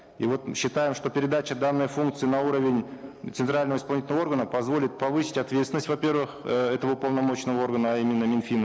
и вот считаем что передача данной функции на уровень центрального исполнительного органа позволит повысить ответственность во первых э этого уполномоченного органа а именно минфина